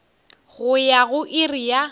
go ya go iri ya